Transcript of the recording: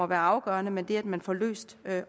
det afgørende men det at man får løst